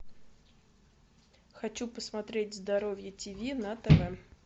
хочу посмотреть здоровье тв на тв